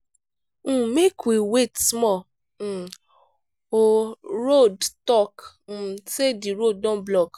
um make we wait small um o radio talk um sey di road don block.